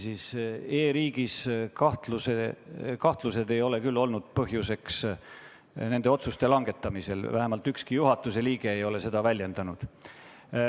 E-riigis kahtlemine ei ole küll olnud põhjuseks nende otsuste langetamisel, vähemalt ükski juhatuse liige ei ole seda väljendanud.